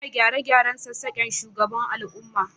Ina gyare-gyaren sassaken shugaban al'umma